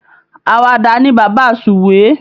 Alawada ni bàbá Suwe